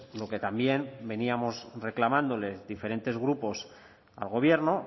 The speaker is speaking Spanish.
lo que también veníamos reclamándole diferentes grupos al gobierno